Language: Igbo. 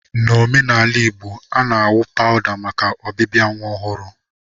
n'omenaala Igbo, a na-awụ pawụda maka ọbịbịa nwa ọhụrụ.